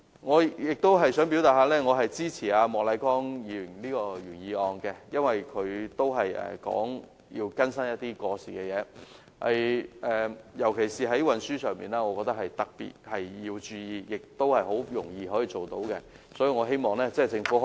我亦想表示支持莫乃光議員的原議案，因為他提出更新過時的法例，尤其在運輸方面，我認為政府應特別注意，而且也是很容易做到的。